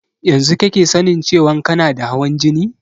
Yanzu kake sanin cewan kana da hawan jini?